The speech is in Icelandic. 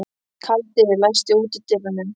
Kaldi, læstu útidyrunum.